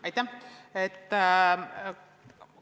Aitäh!